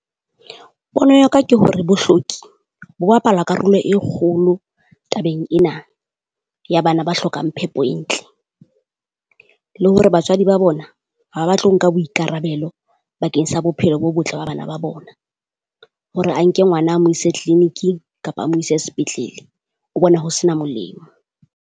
Pono ya ka ke hore bohloki bo bapala karolo e kgolo tabeng ena ya bana ba hlokang phepo e ntle, le hore batswadi ba bona ha batle ho nka boikarabelo bakeng sa bophelo bo botle ba bana ba bona. Hore a nke ngwana a mo ise clinic-ing kapa a mo ise sepetlele, o bona ho sena molemo.